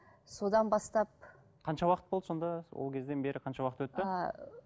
содан бастап қанша уақыт болды сонда ол кезден бері қанша уақыт өтті ааа ы